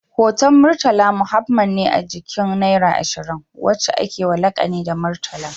Hoton murtala Muhammad ne a jikin naira ashirin, wacca akewa lakani da murtala